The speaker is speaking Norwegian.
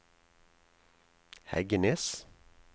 Heggenes